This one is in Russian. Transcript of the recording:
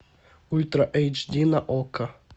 ультра эйч ди на окко